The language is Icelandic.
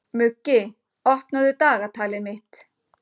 Muggi, opnaðu dagatalið mitt.